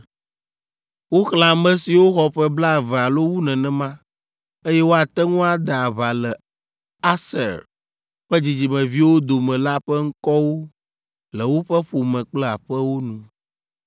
Woxlẽ ame siwo xɔ ƒe blaeve alo wu nenema, eye woate ŋu ade aʋa le Aser ƒe dzidzimeviwo dome la ƒe ŋkɔwo le woƒe ƒome kple aƒewo nu.